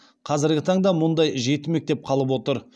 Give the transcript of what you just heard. қазіргі таңда мұндай жеті мектеп қалып отыр